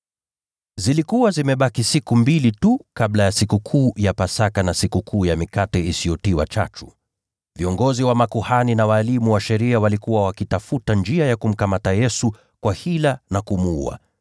Zilikuwa zimebaki siku mbili tu kabla ya Sikukuu ya Pasaka, na Sikukuu ya Mikate Isiyotiwa Chachu. Viongozi wa makuhani na walimu wa sheria walikuwa wakitafuta njia ya kumkamata Yesu kwa hila na kumuua.